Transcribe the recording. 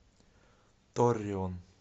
торреон